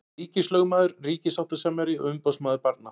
Ríkislögmaður, ríkissáttasemjari og umboðsmaður barna.